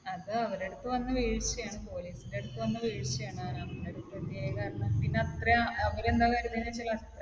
അത് അവരുടെ അടുത്ത് വന്ന വീഴ്ചയാണ്. പോലീസിന്റെ അടുത്ത് വന്ന വീഴ്ചയാണ്. പിന്നെ അത്രയും അവർ എന്താണ് കരുതിയതെന്ന് വെച്ചാൽ